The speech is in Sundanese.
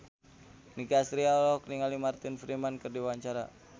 Nicky Astria olohok ningali Martin Freeman keur diwawancara